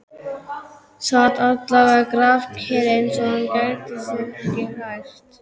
Sat alveg grafkyrr, eins og hann gæti sig ekki hrært.